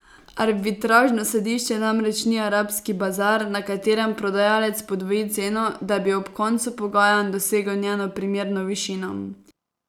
Arbitražno sodišče namreč ni arabski bazar, na katerem prodajalec podvoji ceno, da bi ob koncu pogajanj dosegel njeno primerno višino.